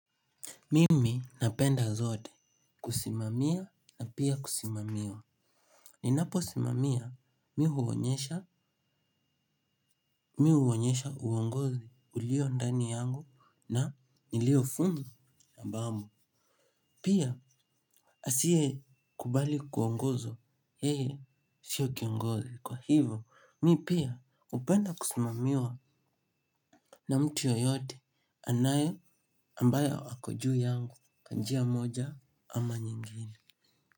Mimi napenda zote kusimamia na pia kusimamiwa. Ninapo simamia mi huonyesha uongozi ulio ndani yangu na nilio fumo na ambao. Pia asiye kubali kuongozwa yeye sio kiongozi. Kwa hivo, mi pia hupenda kusimamiwa na mtu yoyote anaye ambayo ako juu yangu kwa njia moja ama nyingine.